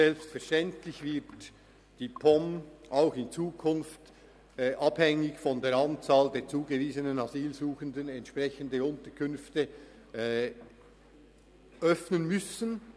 Selbstverständlich wird die POM auch in Zukunft, abhängig von der Anzahl der zugewiesenen Asylsuchenden, entsprechende Unterkünfte öffnen müssen.